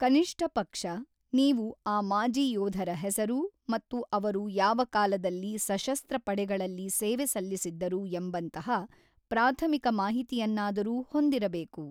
ಕನಿಷ್ಠಪಕ್ಷ, ನೀವು ಆ ಮಾಜಿ ಯೋಧರ ಹೆಸರು ಮತ್ತು ಅವರು ಯಾವ ಕಾಲದಲ್ಲಿ ಸಶಸ್ತ್ರ ಪಡೆಗಳಲ್ಲಿ ಸೇವೆ ಸಲ್ಲಿಸಿದ್ದರು ಎಂಬಂತಹ ಪ್ರಾಥಮಿಕ ಮಾಹಿತಿಯನ್ನಾದರೂ ಹೊಂದಿರಬೇಕು.